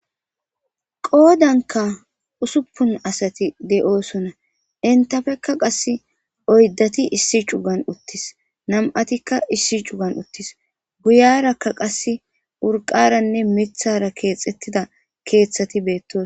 Goodanka usuppun asati de7oosonna intafekka qass oyddati issi cugan uttis nam7atikka issi cugan uttis guyarakka qass urqaranne mithara keexettida keeththati beettoos.